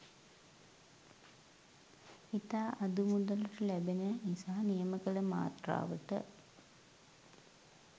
ඉතා අඩුමුදලට ලැබෙන නිසා නියම කල මාත්‍රාවට